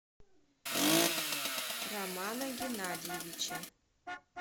романа геннадьевича